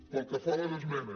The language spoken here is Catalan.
pel que fa a les esmenes